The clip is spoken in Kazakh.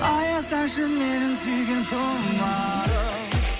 аясаңшы менің сүйген тұмарым